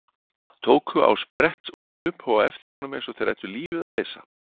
Tóku á sprett og hlupu á eftir honum eins og þeir ættu lífið að leysa.